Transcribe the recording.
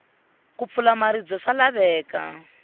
ku pfula maribye swa laveka